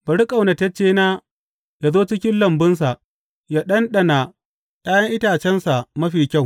Bari ƙaunataccena yă zo cikin lambunsa yă ɗanɗana ’ya’yan itacensa mafi kyau.